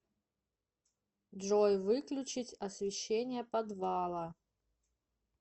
джой выключить освещение подвала